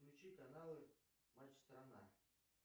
включи каналы матч страна